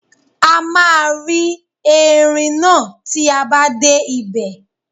A máa rí erin náà tí a bá dé ibẹ̀.